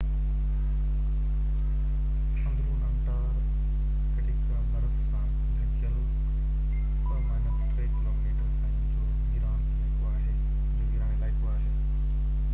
اندرون انٽارڪٽيڪا برف سان ڍڪيل 2-3 ڪلوميٽر تائين جو ويران علائقو آهي